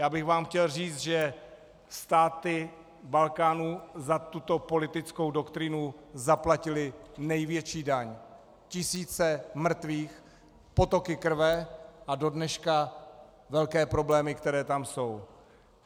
Já bych vám chtěl říct, že státy Balkánu za tuto politickou doktrínu zaplatily největší daň, tisíce mrtvých, potoky krve a do dneška velké problémy, které tam jsou.